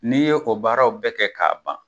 N'i ye o baaraw bɛɛ kɛ k'a ban